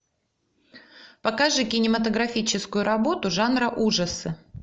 покажи кинематографическую работу жанра ужасы